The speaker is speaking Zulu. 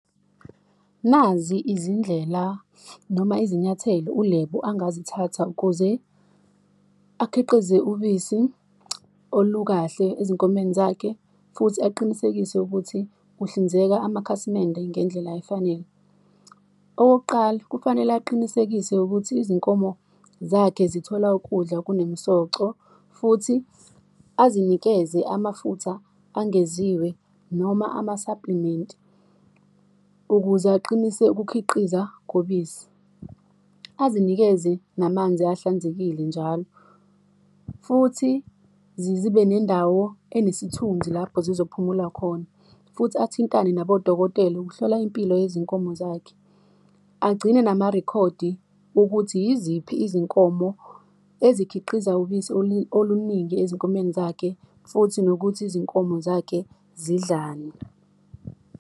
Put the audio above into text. Nazi izindlela noma izinyathelo uLebo engazithatha ukuze akhiqize ubisi olukahle ezinkomeni zakhe, futhi aqinisekise ukuthi kuhlinzeka amakhasimende ngendlela efanele. Okokuqala, kufanele aqinisekise ukuthi izinkomo zakhe zithola ukudla okunemisoco, futhi azinikeze amafutha angeziwe noma ama-supplement ukuze aqinise ukukhiqiza kobisi, azinikeze namanzi ahlanzekile njalo, futhi zibe nendawo enesithunzi lapho zizophumula khona, futhi athintane nabodokotela ukuhlola impilo yezinkomo zakhe, agcine namarekhodi wokuthi yiziphi izinkomo ezikhiqiza ubisi oluningi ezinkomeni zakhe, futhi nokuthi izinkomo zakhe zidlalani.